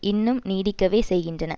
இன்னும் நீடிக்கவே செய்கின்றன